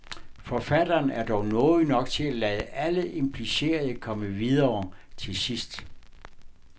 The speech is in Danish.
Forfatteren er dog nådig nok til at lade alle implicerede komme videre til sidst.